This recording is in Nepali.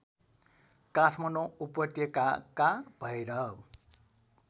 काठमाण्डौ उपत्यकाका भैरव